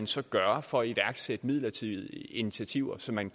så gøre for at iværksætte midlertidige initiativer så man